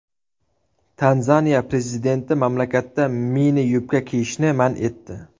Tanzaniya prezidenti mamlakatda mini-yubka kiyishni man etdi .